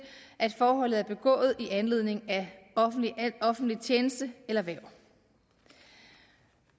at forholdet er begået i anledning af offentlig tjeneste eller hverv